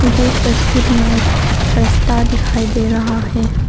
मुझे इस तस्वीर में एक रस्ता दिखाई दे रहा है।